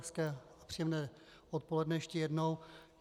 Hezké a příjemné odpoledne ještě jednou.